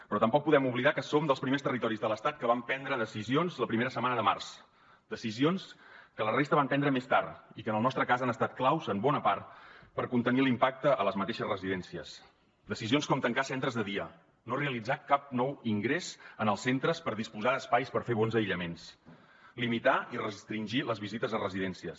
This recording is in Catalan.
però tampoc podem oblidar que som dels primers territoris de l’estat que vam prendre decisions la primera setmana de març decisions que la resta van prendre més tard i que en el nostre cas han estat claus en bona part per contenir l’impacte a les mateixes residències decisions com tancar centres de dia no realitzar cap nou ingrés en els centres per disposar d’espais per fer bons aïllaments limitar i restringir les visites a residències